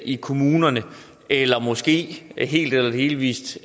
i kommunerne eller måske helt eller delvis